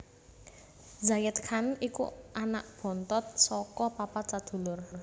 Zayed Khan iku anak bontot saka papat sadulur